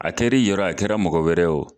A kɛr'i yɔrɔ ye, a kɛra mɔgɔ wɛrɛ ye